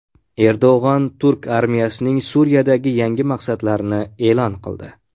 Erdo‘g‘on turk armiyasining Suriyadagi yangi maqsadlarini e’lon qildi.